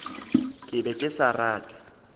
ke be ke sa rate